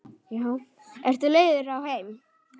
Ertu leiður á þeim?